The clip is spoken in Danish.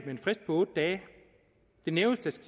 en frist på otte dage i det nævnes